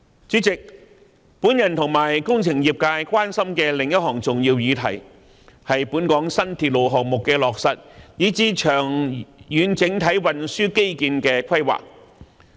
主席，我與工程業界關心的另一項重要議題，是本港新鐵路項目的落實，以至長遠整體運輸基建的規劃。